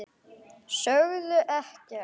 Sögðu ekkert.